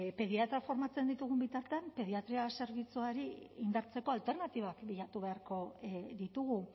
pediatrak formatzen ditugun bitartean pediatria zerbitzuari indartzeko alternatibak bilatu beharko ditugu